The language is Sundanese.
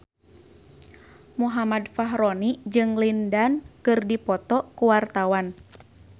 Muhammad Fachroni jeung Lin Dan keur dipoto ku wartawan